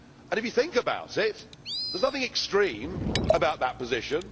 If you think about it, there is nothing extreme about that position.